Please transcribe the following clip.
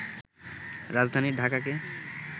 রাজধানী ঢাকাকে